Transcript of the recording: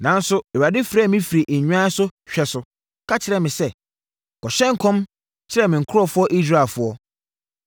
Nanso, Awurade frɛɛ me firii nnwan so hwɛ so, ka kyerɛɛ me sɛ, ‘Kɔhyɛ nkɔm kyerɛ me nkurɔfoɔ Israelfoɔ.’